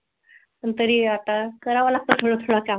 पण तरी आता करावं लागतं थोडं थोडं काम.